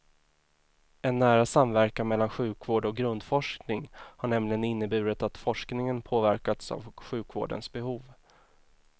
En nära samverkan mellan sjukvård och grundforskning har nämligen inneburit att forskningen påverkats av sjukvårdens behov.